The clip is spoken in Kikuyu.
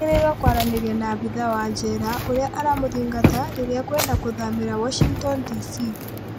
Agĩrĩrwo kwaranĩrio na abitha wa jera ũrĩa aramũthingata rĩrĩa ekwenda kũthamĩra Washington DC